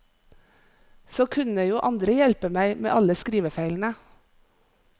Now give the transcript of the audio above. Så kunne jo andre hjelpe meg med alle skrivefeilene.